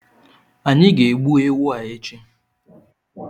Anyị ga egbu ewu a echi